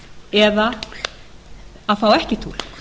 eða að fá ekki túlk